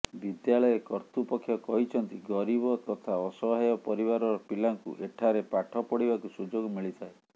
ବିଦ୍ୟାଳୟ କର୍ତ୍ତୃପକ୍ଷ କହିଛନ୍ତି ଗରିବ ତଥା ଅସହାୟ ପରିବାରର ପିଲାଙ୍କୁ ଏଠାରେ ପାଠପଢ଼ିବାକୁ ସୁଯୋଗ ମିଳିଥାଏ